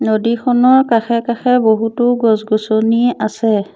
নদীখনৰ কাষে কাষে বহুতো গছ-গছনি আছে।